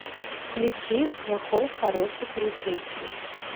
включи плохой хороший полицейский